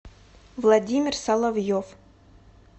владимир соловьев